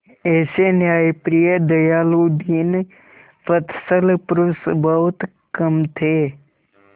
ऐसे न्यायप्रिय दयालु दीनवत्सल पुरुष बहुत कम थे